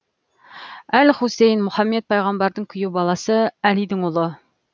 әл хусейн мұхаммед пайғамбардың күйеу баласы әлидің ұлы